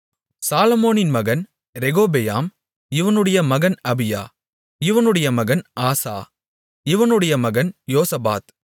சாலொமோனின் மகன் ரெகொபெயாம் இவனுடைய மகன் அபியா இவனுடைய மகன் ஆசா இவனுடைய மகன் யோசபாத்